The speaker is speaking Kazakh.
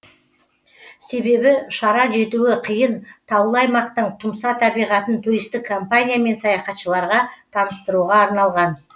себебі шара жетуі қиын таулы аймақтың тұмса табиғатын туристік компания мен саяхатшыларға таныстыруға арналған